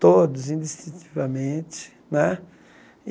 Todos, indistintivamente, né?